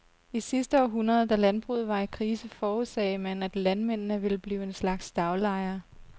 I sidste århundrede, da landbruget var i krise, forudsagde man, at landmændene ville blive en slags daglejere.